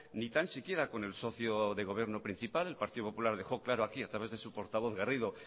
ni tan siquiera con el socio del gobierno principal el partido popular dejó claro aquí a través de su portavoz garrido